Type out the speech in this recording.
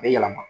A bɛ yɛlɛma